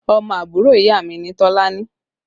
Ọmọ àbúrò ìyá mi ni Tolani